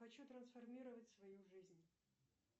хочу трансформировать свою жизнь